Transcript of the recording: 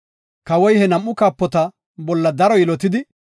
Kawoy he nam7u kaapota bolla daro yilotidi,